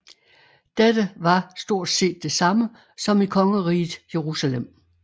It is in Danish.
Dette var stort set det samme som i Kongeriget Jerusalem